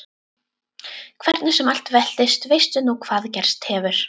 Hvernig sem allt veltist veistu nú hvað gerst hefur.